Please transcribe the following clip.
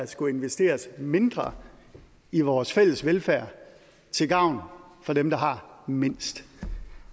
skulle investeres mindre i vores fælles velfærd til gavn for dem der har mindst